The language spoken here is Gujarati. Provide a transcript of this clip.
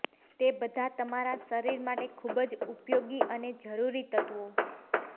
જે બધા તમારા શરીર માટે ખુબજ ઉપયોગી અને જરૂરી તત્વો